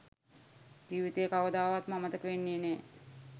ජිවිතයේ කවමදාවත් අමතක වෙන්නේ නැ